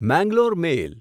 Mangalore મેલ